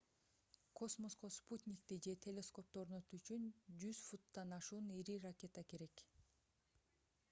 космоско спутникти же телескопту орнотуу үчүн 100 футтан ашуун ири ракета керек болот